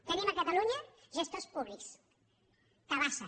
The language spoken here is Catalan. tenim a catalunya gestors públics tabasa